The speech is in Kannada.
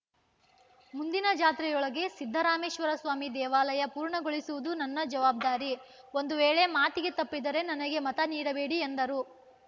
ಮುಂದಿನ ಜಾತ್ರೆಯೊಳಗೆ ಸಿದ್ದರಾಮೇಶ್ವರಸ್ವಾಮಿ ದೇವಾಲಯ ಪೂರ್ಣಗೊಳಿಸುವುದು ನನ್ನ ಜವಾಬ್ದಾರಿ ಒಂದು ವೇಳೆ ಮಾತಿಗೆ ತಪ್ಪಿದರೆ ನನಗೆ ಮತ ನೀಡಬೇಡಿ ಎಂದರು